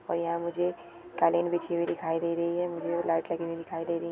और यहाँ मुझे कालीन बिछी हुई दिखाई दी रही है मुझे लाइट लगी वे दिखाई दे रही है।